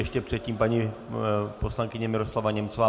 Ještě předtím paní poslankyně Miroslava Němcová.